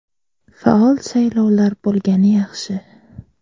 Faol saylovlar bo‘lgani yaxshi.